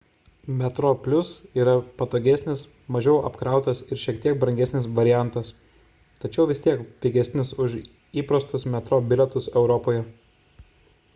metroplus yra patogesnis mažiau apkrautas ir šiek tiek brangesnis variantas tačiau vis tiek pigesnis už įprastus metro bilietus europoje